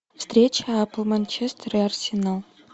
встреча апл манчестер и арсенал